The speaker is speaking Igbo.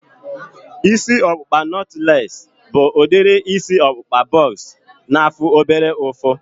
Isi ọkpụkpa nọtlees bụ udiri isi ọkpụkpa bọks na-afụ obere ụfụ